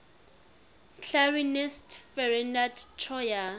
clarinetist ferdinand troyer